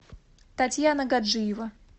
татьяна гаджиева